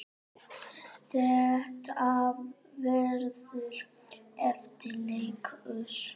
Þetta verður erfiður leikur.